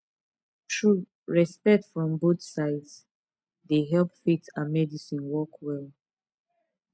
true respect from both sides dey help faith and medicine work well